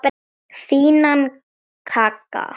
Fínan kagga!